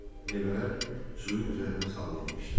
Meyvələr suyun üzərinə sallanmışdı.